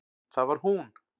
Það var hún!